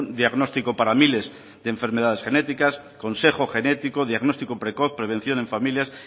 diagnóstico para miles de enfermedades genéticas consejo genético diagnóstico precoz prevención en familias